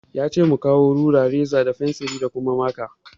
Yace mu kawo rula, reza, fensiri, da kuma maka